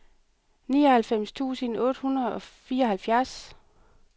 nioghalvfems tusind otte hundrede og fireoghalvfjerds